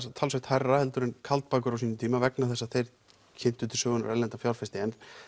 talsvert hærra en Kaldbakur á sínum tíma vegna þess að þeir kynntu til sögunnar erlenda fjárfesti